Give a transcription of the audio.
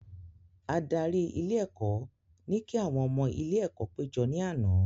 Adarí ilé ẹ̀kọ́ ní kí àwọn ọmọ ilé ẹ̀kọ́ pé jọ ní àná